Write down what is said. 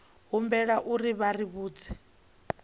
humbelwa uri vha ri vhudze